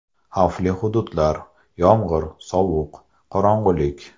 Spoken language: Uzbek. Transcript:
Xavfli hududlar, yomg‘ir, sovuq, qorong‘ilik.